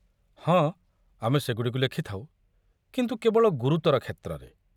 ହଁ, ଆମେ ସେଗୁଡ଼ିକୁ ଲେଖିଥାଉ, କିନ୍ତୁ କେବଳ ଗୁରୁତର କ୍ଷେତ୍ରରେ।